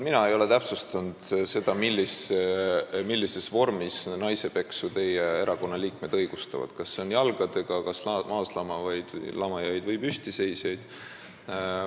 Mina ei ole täpsustanud seda, millises vormis naisepeksu teie erakonna liikmed õigustavad – kas seda tehakse jalgadega, kas pekstakse maaslamajaid või püstiseisjaid.